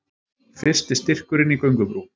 Fyrsti styrkurinn í göngubrú